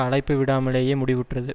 அழைப்பு விடாமலேயே முடிவுற்றது